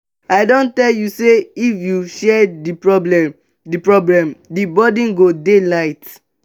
i don tell you sey if you share di problem di problem the burden go dey light.